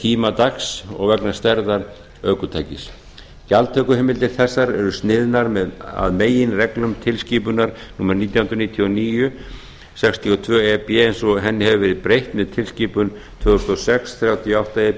tíma dags og vegna stærðar ökutækis gjaldtökuheimildir þessar eru sniðnar að meginreglum tilskipunar númer nítján hundruð níutíu og níu sextíu og tvö e b eins og henni hefur verið breytt með tilskipun tvö þúsund og sex þrjátíu og átta e